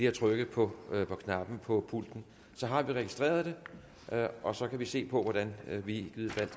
at trykke på knappen på pulten så har vi registreret det og så kan vi se på hvordan vi i givet fald